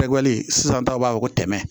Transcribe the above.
sisan taw b'a fɔ ko tɛmɛ